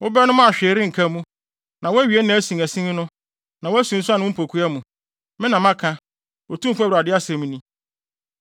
Wobɛnom a hwee renka mu: na woawe nʼasinasin no na woasunsuan wo mpokua mu. Me na maka, Otumfo Awurade asɛm ni.